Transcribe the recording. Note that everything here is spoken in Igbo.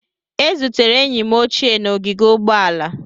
Ezutere enyi m ochie n'ogige ụgbọala